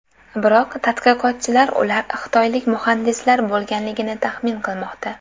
Biroq tadqiqotchilar ular xitoylik muhandislar bo‘lganligini taxmin qilmoqda.